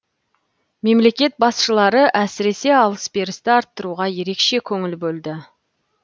мемлекет басшылары әсіресе алыс берісті арттыруға ерекше көңіл бөлді